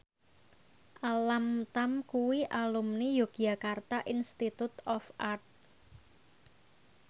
Alam Tam kuwi alumni Yogyakarta Institute of Art